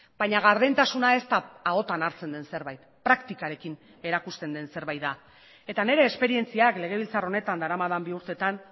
baina gardentasuna ez da ahotan hartzen den zerbait praktikarekin erakusten den zerbait da eta nire esperientziak legebiltzar honetan daramadan bi urtetan